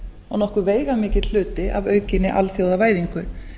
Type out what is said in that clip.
og nokkuð veigamikill hluti af aukinni alþjóðavæðingu